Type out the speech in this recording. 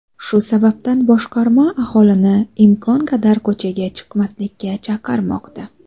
Shu sabab boshqarma aholini imkon qadar ko‘chaga chiqmaslikka chaqirmoqda.